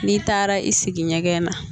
N'i taara i sigi ɲɛgɛn na